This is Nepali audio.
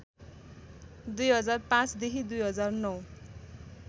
२००५ देखि २००९